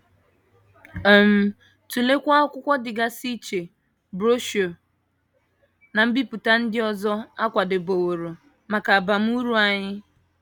um Tụleekwa akwụkwọ dịgasị iche, broshuọ, na mbipụta ndị ọzọ a kwadebeworo maka abamuru anyị.